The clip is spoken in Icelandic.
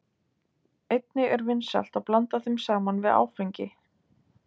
Einnig er vinsælt að blanda þeim saman við áfengi.